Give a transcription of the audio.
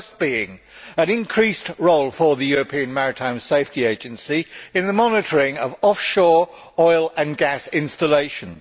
The first was an increased role for the European Maritime Safety Agency in the monitoring of offshore oil and gas installations